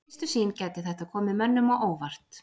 Við fyrstu sýn gæti þetta komið mönnum á óvart.